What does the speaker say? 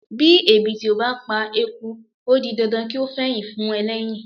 Bí ẹ̀bìtì ò bá pa eku ó di dandan kí ó fẹyìn fún ẹlẹ́yìn.